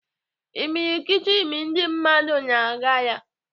Imilikiti ndị mmadụ na-aga ya.